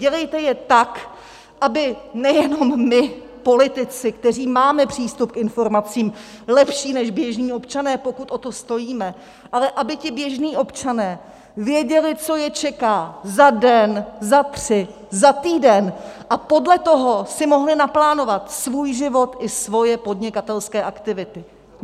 Dělejte je tak, aby nejenom my politici, kteří máme přístup k informacím lepší než běžní občané, pokud o to stojíme, ale aby ti běžní občané věděli, co je čeká za den, za tři, za týden, a podle toho si mohli naplánovat svůj život i svoje podnikatelské aktivity.